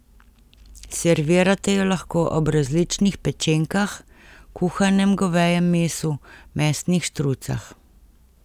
Servirate jo lahko ob različnih pečenkah, kuhanem govejem mesu, mesnih štrucah ...